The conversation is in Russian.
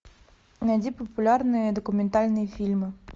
найди популярные документальные фильмы